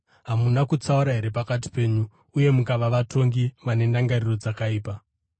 hamuna kutsaura here pakati penyu uye mukava vatongi vane ndangariro dzakaipa?